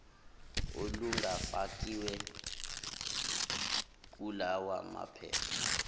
olungafakiwe kulawa maphepha